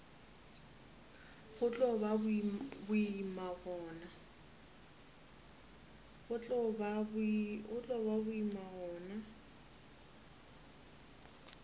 go tlo ba boima gona